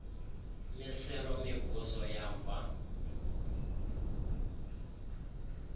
miselo mivuzo yamva